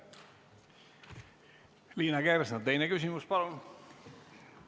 Liina Kersna, teine küsimus, palun!